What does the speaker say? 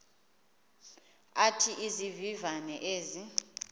athi izivivane ezi